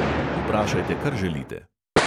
Vprašajte, kar želite.